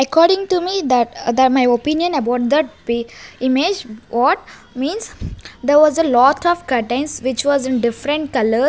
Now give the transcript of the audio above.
according to me that my opinion about that image what means there was a lot of curtains which was in different --